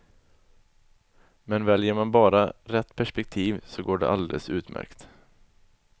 Men väljer man bara rätt perspektiv så går det alldeles utmärkt.